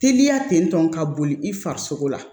Teliya tentɔ ka boli i farisogo la